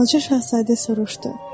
Balaca Şahzadə soruşdu.